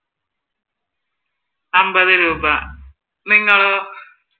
അൻപത് രൂപ നിങ്ങളോ?